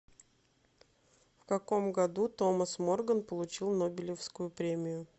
в каком году томас морган получил нобелевскую премию